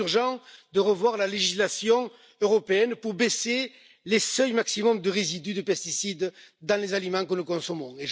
Il est urgent de revoir la législation européenne pour baisser les seuils maximums de résidus de pesticides dans les aliments que nous consommons.